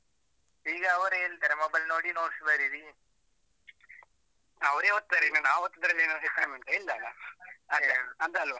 ಈಗ ಅವರೇ ಹೇಳ್ತಾರೆ mobile ನೋಡಿ notes ಬರೀರಿ ಅವರೇ ಒತ್ತುತ್ತಾರೆ, ಇನ್ನು ನಾವು ಒತ್ತುದ್ರಲ್ಲಿ ಏನಾದ್ರು ಹೆಚ್ಕಡಿಮೆ ಉಂಟಾ ಎಲ್ಲ ಅಲ್ವಾ? ಹಾಗೆಯೆ ಹೌದಲ್ವಾ?